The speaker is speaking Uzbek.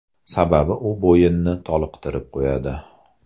Sababi u bo‘yinni toliqtirib qo‘yadi.